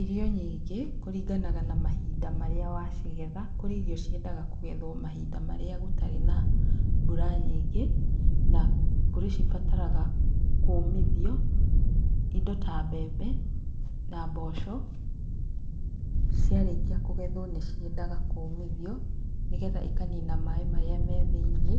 Irio nyingĩ, kũringanaga na mahinda marĩa wacigetha. Kũrĩ irio ciendaga kũgethwo mahinda marĩa gũtarĩ na mbura nyingĩ, na kũrĩ cibataraga kũũmithio. Indo ta mbembe na mboco, ciarĩkia kũgethwo nĩ ciendaga kũũmithio nĩgetha ikanina maaĩ marĩa me thĩiniĩ,